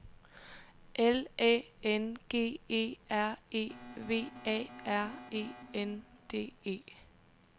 L Æ N G E R E V A R E N D E